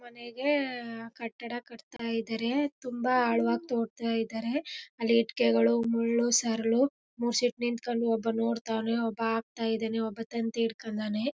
ಕೊನೆಗೆ ಆ ಆ ಕಟ್ಟಡ ಕಟ್ತಾ ಇದ್ದಾರೆ ತುಂಬಾ ಆಳವಾಗಿ ತೋಡ್ಥ ಇದ್ದಾರೆ ಅಲ್ಲಿ ಇಟ್ಟಿಗೆಗಳು ಮುಳ್ಳು ಸರಳು ಮೂಸಿಕ್ ನಿಂತ್ಕೊಂಡು ಒಬ್ಬ ನೋಡತಾನೆ ಒಬ್ಬ ಹಾಕ್ತ ಇದಾನೆ ಒಬ್ಬ ತಂತಿ ಹಿಡ್ಕಂಡವ್ನೆ.